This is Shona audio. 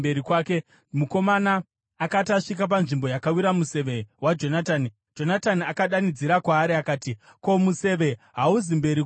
Mukomana akati asvika panzvimbo yakawira museve waJonatani, Jonatani akadanidzira kwaari akati, “Ko, museve hauzi mberi kwako here?”